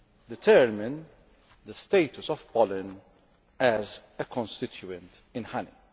determine the status of pollen as a constituent in honey.